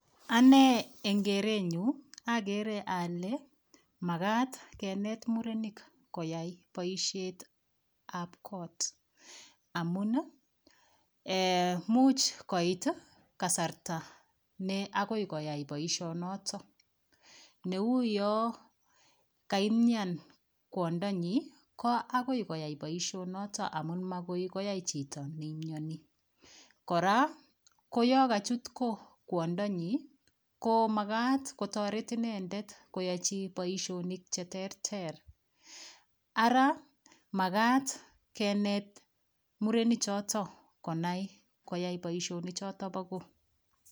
Anee eng kerenyu akere ale makat kenet murenik koyai boishetab kot amun much koit kasarta ne akoi koyai boishonoto neuyoo kaimyan kwondonyi ko akoi koyai boishonoto amun makoi koyai chito neimyoni kora koyoo kachutko kwondonyi ko makat kotoreti inendet koyoichi boishonik cheterter ara makat kenet murenichoto konai koyai boishonichoto bo koo